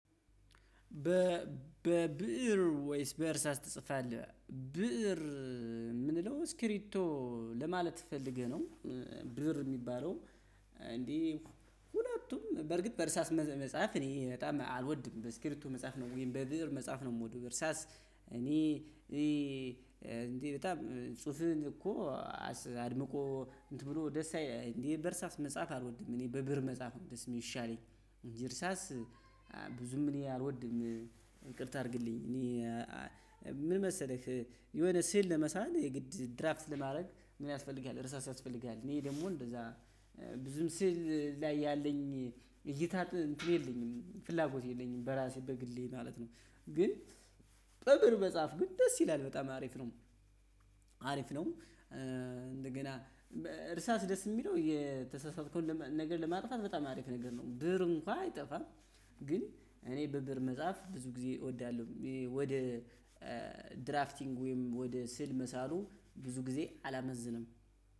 በ በብእር ወይስ በእርሳስ ትጽፋለህ ብእር የምንለው ስክሪቶ ለማለት ፈልገህ ነው? ብእር የሚባለው እንዴ ሁለቱም በርግጥ በእርሳስ መጽሐፍ እኔ በጣም አልወድም በስክሪቶ መጻፍ ነው ወይም በብእር መጻፍ ነው የምወደው። እርሳስ እኔ እንዴ በጣም ጽሁፍህን እኮ አድምቆ እንትን ብሎ ደስ አይልም እንዴ በእርሳስ መጻፍ አልወድም። እኔ በብእር መጻፍ ነው የሚሻለኝ። እንጂ በብእር መጻፍ አልወድም። ይቅርታ ታድርግልኝ እኔ ምን መሰለህ። የሆነ ስዕል ለመሳል የግድ ድራፍት ለማድረግ ምን ያስፈልጋል እርሳስ ያስፈልጋል። እኔ ደግሞ እንደዛ ብዙም ስዕል ላይ ያለኝ እይታ እንትን የለኝም ፍላጎት የለኝም በራሴ በግሌ ማለት ነው። ግን በብእር መጻፍ ግን ደስ ይላል በጣም አሪፍ ነው። አሪፍ ነው እንደገና እርሳስ ደስ የሚለው የተሳሳተከውን ነገር ለማጥፋት በጣም አሪፍ ነገር ነው። ብእር እንኳን አይጠፋም። ግን እኔ በብእር መጻፍ ብዙ ጊዜ እወዳለሁ። ወደ ድራፍቲንግ ወይም ወደ ስዕል መሳሉ ብዙ ጊዜ አላመዝንም።